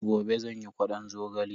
Gobe zan yi ƙwadon zogale.